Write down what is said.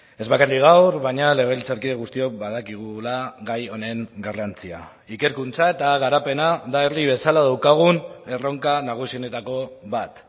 ez bakarrik gaur baina legebiltzarkide guztiok badakigula gai honen garrantzia ikerkuntza eta garapena da herri bezala daukagun erronka nagusienetako bat